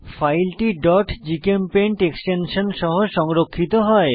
ফাইলটি gchempaint extension সহ সংরক্ষিত হয়